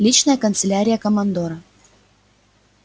личная канцелярия командора